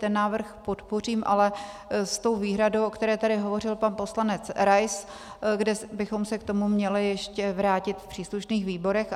Ten návrh podpořím, ale s tou výhradou, o které tady hovořil pan poslanec Rais, kde bychom se k tomu měli ještě vrátit v příslušných výborech.